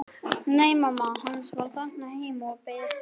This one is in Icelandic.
Nei, mamma hans var þarna heima og beið eftir honum.